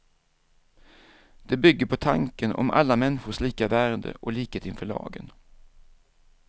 Det bygger på tanken om alla människors lika värde och likhet inför lagen.